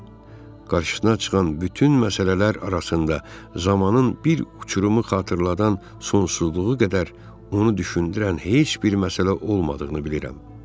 Qarşısına çıxan bütün məsələlər arasında zamanın bir uçurumu xatırladan sonsuzluğu qədər onu düşündürən heç bir məsələ olmadığını bilirəm.